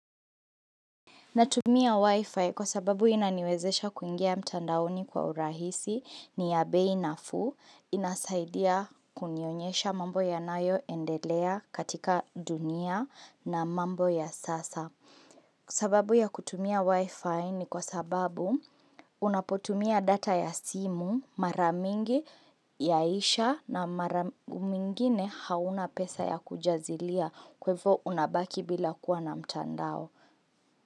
Natumia wifi kwa sababu inaniwezesha kuingia mtandaoni kwa urahisi ni ya bei nafuu inasaidia kunionyesha mambo yanayo endelea katika dunia na mambo ya sasa. Sababu ya kutumia wifi ni kwa sababu unapotumia data ya simu maramingi yaisha na maramingine hauna pesa ya kujazilia kwa hivo unabaki bila kuwa na mtandao.